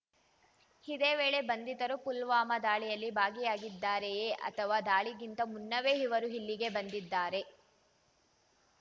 ಇದೇ ವೇಳೆ ಬಂಧಿತರು ಪುಲ್ವಾಮಾ ದಾಳಿಯಲ್ಲಿ ಭಾಗಿಯಾಗಿದ್ದಾರೆಯೇ ಅಥವಾ ದಾಳಿಗಿಂತ ಮುನ್ನವೇ ಇವರು ಇಲ್ಲಿಗೆ ಬಂದಿದ್ದಾರೇ